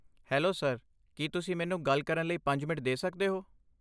Hello sir, ਕੀ ਤੁਸੀਂ ਮੈਨੂੰ ਗੱਲ ਕਰਨ ਲਈ ਪੰਜ ਮਿੰਟ ਦੇ ਸਕਦੇ ਹੋ?